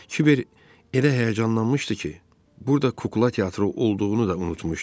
Kiber elə həyəcanlanmışdı ki, burada kukla teatrı olduğunu da unutmuşdu.